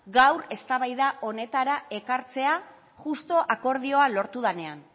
gaur eztabaida honetara ekartzea justu akordioa lortu denean